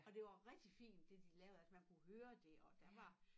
Og det var rigtig fint det de lavede altså man kunne høre det og der var